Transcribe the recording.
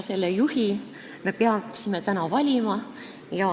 Selle juhi me peaksime täna valima.